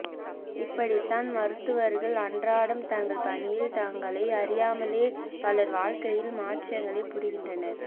இப்படித்தான் மருத்துவர்கள் அன்றாடம் தங்கள் பணியில் தங்களை அறியாமலே பலர் வாழ்க்கையில் மாற்றங்களை புரிகின்றனர்